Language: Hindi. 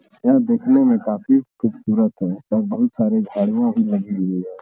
यह दिखने में काफी खूबसूरत है और बहोत सारी झाड़ियां भी लगी हुई हैं।